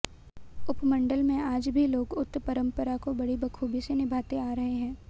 उपमंडल में आज भी लोग उक्त परंपरा को बड़ी बखूबी से निभाते आ रहे हैं